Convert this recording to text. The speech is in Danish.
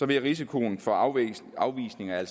bliver risikoen for afvisning afvisning af